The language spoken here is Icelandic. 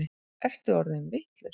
Ertu orðinn vitlaus?